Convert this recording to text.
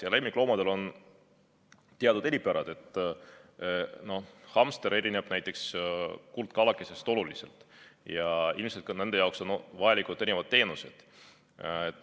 Aga lemmikloomadel on teatud eripärad, näiteks hamster erineb kuldkalakesest oluliselt ja ilmselt on nende jaoks vajalikud ka erinevad teenused.